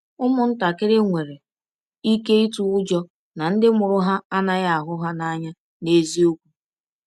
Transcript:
Ụmụntakịrị nwere ike ịtụ ụjọ na ndị mụrụ ha anaghị ahụ ha n’anya n’eziokwu.